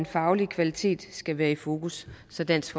faglige kvalitet skal være i fokus så dansk